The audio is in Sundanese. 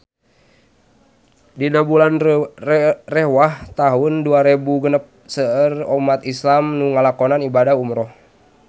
Dina bulan Rewah taun dua rebu genep seueur umat islam nu ngalakonan ibadah umrah